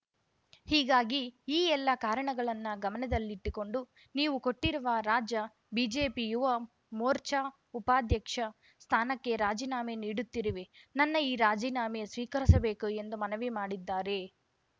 ಹೀಗಾಗಿ ಈ ಎಲ್ಲ ಕಾರಣಗಳನ್ನ ಗಮನದಲ್ಲಿಟ್ಟುಕೊಂಡು ನೀವು ಕೊಟ್ಟಿರುವ ರಾಜ್ಯ ಬಿಜೆಪಿ ಯುವ ಮೋರ್ಚಾ ಉಪಾಧ್ಯಕ್ಷ ಸ್ಥಾನಕ್ಕೆ ರಾಜೀನಾಮೆ ನೀಡುತ್ತಿರುವೆ ನನ್ನ ಈ ರಾಜೀನಾಮೆ ಸ್ವೀಕರಿಸಬೇಕು ಎಂದು ಮನವಿ ಮಾಡಿದ್ದಾರೆ